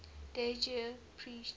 dev ji preached